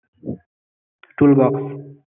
Toolbox